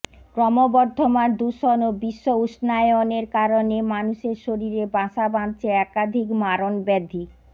ক্রমবর্ধমান দূষণ ও বিশ্ব উষ্ণায়নের কারণে মানুষের শরীরে বাসা বাঁধছে একাধিক মারণ ব্যাধি